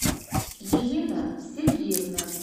елена сергеевна